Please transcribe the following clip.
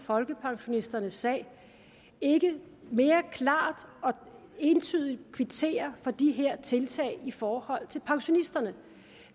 folkepensionisterne sag ikke mere klart og entydigt kvitterer for de her tiltag i forhold til pensionisterne